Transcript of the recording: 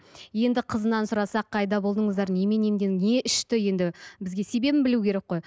енді қызынан сұрасақ қайда болдыңыздар немен не ішті енді бізге себебін білу керек қой